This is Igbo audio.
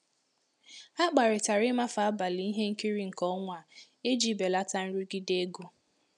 Ha kparịtara ịmafe abalị ihe nkiri nke ọnwa a iji belata nrụgide ego.